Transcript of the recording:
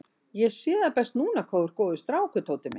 Ég sé það best núna hvað þú ert góður strákur, Tóti minn.